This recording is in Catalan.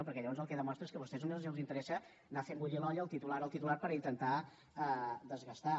perquè llavors el que demostren és que a vostès només els interessa anar fer bullint l’olla el titular el titular per intentar desgastar